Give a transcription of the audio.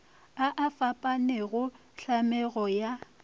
a a fapanego tlhamego ya